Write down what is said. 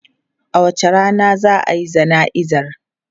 A wace rana za a yi jana'izar?